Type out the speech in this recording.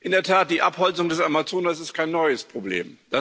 In der Tat, die Abholzung des Amazonas ist kein neues Problem.